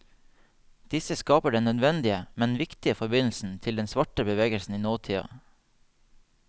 Disse skaper den nødvendige, men viktige forbindelsen til den svarte bevegelsen i nåtida.